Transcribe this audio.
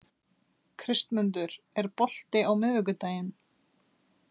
Kristmundur, er bolti á miðvikudaginn?